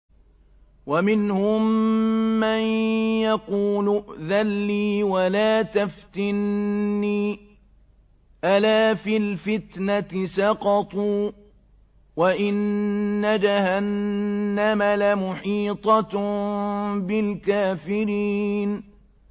وَمِنْهُم مَّن يَقُولُ ائْذَن لِّي وَلَا تَفْتِنِّي ۚ أَلَا فِي الْفِتْنَةِ سَقَطُوا ۗ وَإِنَّ جَهَنَّمَ لَمُحِيطَةٌ بِالْكَافِرِينَ